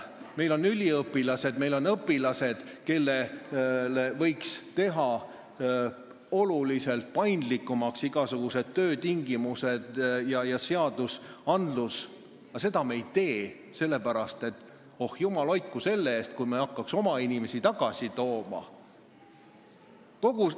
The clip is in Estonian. Meil on üliõpilased, meil on õpilased, kelle töötingimusi võiks teha oluliselt paindlikumaks, aga seda me ei tee, sest jumal hoidku selle eest, kui me hakkame oma inimesi tagasi tooma!